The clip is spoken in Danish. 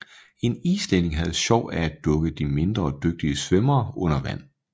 En islænding havde sjov af at dukke de mindre dygtige svømmere under vand